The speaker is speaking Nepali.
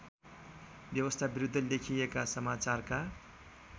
व्यवस्थाविरुद्ध लेखिएका समाचारका